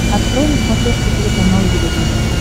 открой на смотрешке телеканал его тв